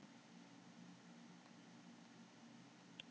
Þaðan snýr hann kannski aftur þegar þar að kemur.